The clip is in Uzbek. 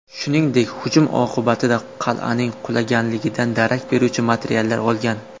Shuningdek, hujum oqibatida qal’aning qulaganligidan darak beruvchi materiallar olgan.